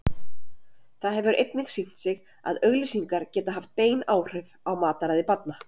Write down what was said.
Það hefur einnig sýnt sig að auglýsingar geta haft bein áhrif á mataræði barna.